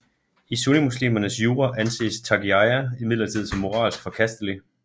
I sunnimuslimernes jura anses taqiyya imidlertid som moralsk forkastelig